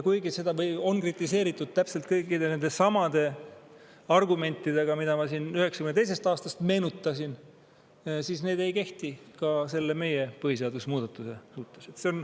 Kuigi seda on kritiseeritud täpselt kõikide nendesamade argumentidega, mida ma siin 1992. aastast meenutasin, ei kehti need ka selle meie põhiseadusemuudatuse suhtes.